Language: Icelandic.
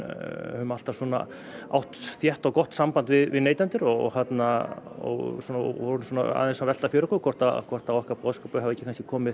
höfum alltaf átt þétt og gott samband við neytendur og og vorum aðeins að velta fyrir okkur hvort hvort að okkar boðskapur hefði ekki komið